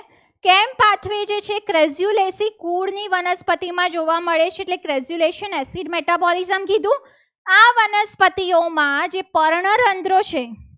વનસ્પતિમાં જોવા મળે છે. એટલે crezulation metabolizm કીધું આ વનસ્પતિઓમાં જે પર્ણરંધ્ર છે.